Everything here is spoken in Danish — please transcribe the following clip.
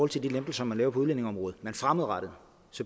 til de lempelser man laver på udlændingeområdet men fremadrettet